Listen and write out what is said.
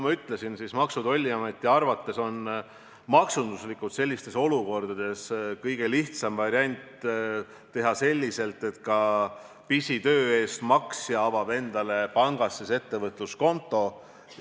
Nagu ma ütlesin, Maksu- ja Tolliameti arvates on maksunduslikult sellistes olukordades kõige lihtsam variant teha nii, et ka pisitöö tegija avab endale pangas ettevõtluskonto.